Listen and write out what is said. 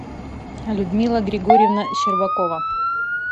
людмила григорьевна щербакова